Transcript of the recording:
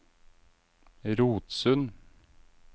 Rotsund